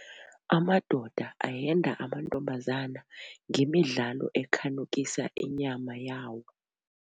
Amadoda ahenda amantombazana ngemidlalo ekhanukisa inyama yawo.